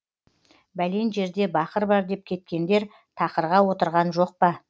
бәлен жерде бақыр бар деп кеткендер тақырға отырған жоқ па